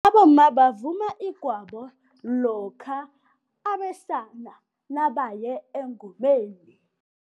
Abomma bavuma igwabo lokha abesana nabaye engomeni.